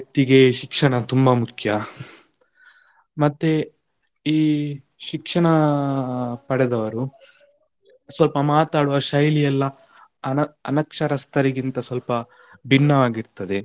ವ್ಯಕ್ತಿಗೆ ಶಿಕ್ಷಣ ತುಂಬಾ ಮುಖ್ಯ, ಮತ್ತೆ ಈ ಶಿಕ್ಷಣ ಪಡೆದವರು, ಸ್ವಲ್ಪ ಮಾತಾಡುವ ಶೈಲಿಯೆಲ್ಲ, ಅನ~ ಅನಕ್ಷರಸ್ಥರ ಗಿಂತ ಸ್ವಲ್ಪ ಭಿನ್ನವಾಗಿರ್ತದೆ.